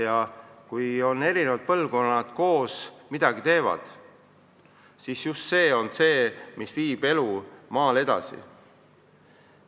Ja kui erinevad põlvkonnad koos midagi teevad, siis just see on see, mis viib elu maal edasi.